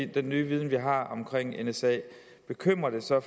den nye viden vi har om nsa bekymrer det så